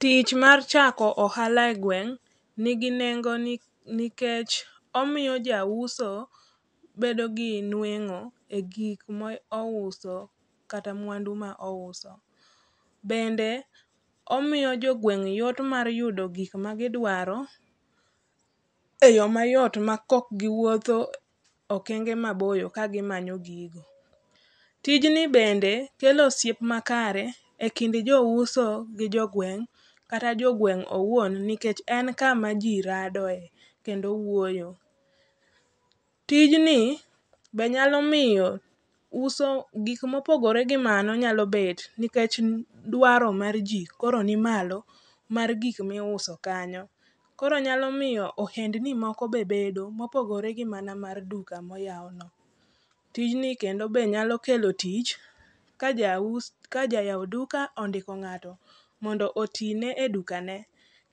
Tich mar chako ohala e gweng' nigi nengo nikech omiyo ja uso bedo gi nueng'o e gik mouso kata mwandu ma ouso. Bende omiyo jogweng' yot mar yudo gik ma gidwaro, e yo mayot ma kokgiwuotho okenge maboyo kagimanyo gigo. Tijni bende kelo osiep makare, e kind jouso gi jogweng'; kata jogweng' owuon nikech en kama ji radoe kendo wuoyo. Tijni be nyalo miyo uso gik mopogore gi mano be nyalo bet nikech duaro mar ji koro ni malo mar gikmiuso kanyo. Koro nyalo miyo ohendni moko be bedo mopogore gi mana mar duka moyawno. Tijni kendo be nyalo kelo tich ka ja yaw duka ondiko ng'ato mondo otine e dukane.